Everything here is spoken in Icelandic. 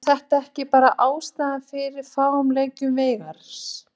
En er þetta ekki bara ástæðan fyrir fáum leikjum Veigars?